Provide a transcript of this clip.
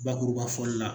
Bakuruba fɔli la